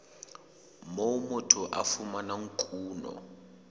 moo motho a fumanang kuno